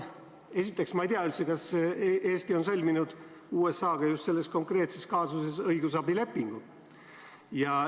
Esiteks ei tea ma üldse, kas Eesti on sõlminud USA-ga just selles konkreetses kaasuses õigusabilepingu.